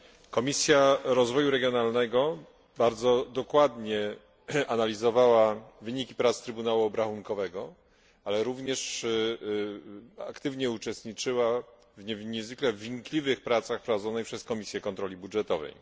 Komisja Rozwoju Regionalnego bardzo dokładnie analizowała wyniki prac Trybunału Obrachunkowego, ale również aktywnie uczestniczyła w niezwykle wnikliwych pracach prowadzonych przez Komisję Kontroli Budżetowej.